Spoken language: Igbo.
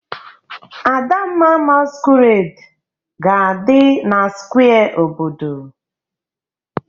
Adamma masquerade ga-adị na square obodo